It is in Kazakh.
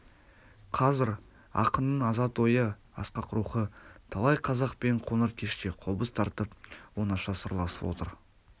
қазір ақынның азат ойы асқақ рухы талай қазақпен қоңыр кеште қобыз тартып оңаша сырласып отыр